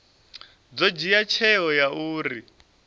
ḓo dzhia tsheo ya uri